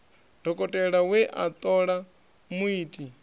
dokotela we a ṱola muiti